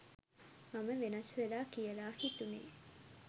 මම වෙනස් වෙලා කියලා හිතුනේ